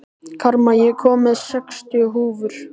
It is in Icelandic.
Karma, ég kom með sextíu húfur!